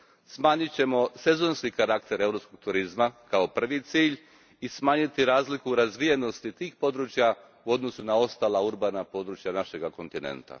Smanjit ćemo sezonski karakter europskog turizma kao prvi cilj i smanjit ćemo razliku razvijenosti tih područja u odnosu na ostala urbana područja našega kontinenta.